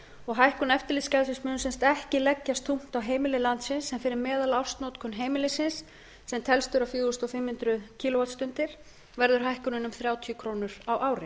og hækkun eftirlitsgjaldsins mun sem sagt ekki leggjast þungt á heimili landsins en fyrir meðalársnotkun heimilisins sem telst vera fjögur þúsund fimm hundruð kílóvattstundir verður hækkunin um þrjátíu krónur á ári